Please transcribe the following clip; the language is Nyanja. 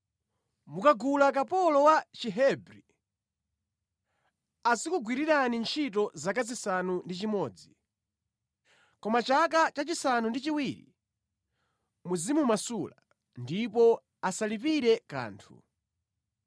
“Mukagula kapolo wa Chihebri, azikugwirirani ntchito zaka zisanu ndi chimodzi. Koma mʼchaka cha chisanu ndi chiwiri muzimumasula, ndipo asalipire kanthu.